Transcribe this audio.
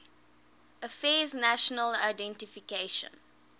affairs national identification